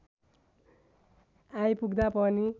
आइपुग्दा पनि